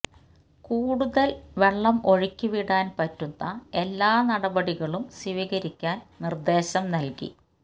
കൂടുതൽ വെള്ളം ഒഴുക്കി വിടാൻ പറ്റുന്ന എല്ലാ നടപടികളും സ്വീകരിക്കാൻ നിർദ്ദേശം നൽകി